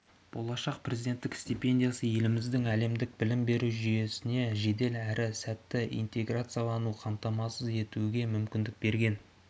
болашақ президенттік стипендиясы еліміздің әлемдік білім беру жүйесіне жедел әрі сәтті интеграциялануын қамтамасыз етуге мүмкіндік берген